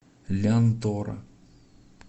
лянтора